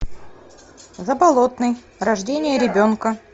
заболотный рождение ребенка